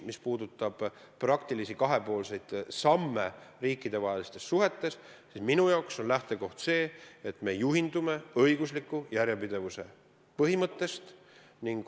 Mis puudutab praktilisi kahepoolseid samme riikidevahelistes suhetes, siis minu jaoks on lähtekoht see, et me juhindume õigusliku järjepidevuse põhimõttest.